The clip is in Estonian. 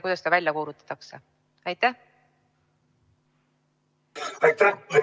Aitäh!